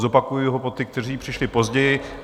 Zopakuji ho pro ty, kteří přišli později.